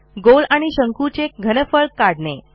गोल आणि शंकूचे घनफळ काढणे